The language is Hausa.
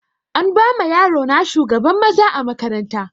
An bama yaro na shugaban maza a makaranta